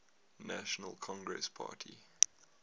national congress party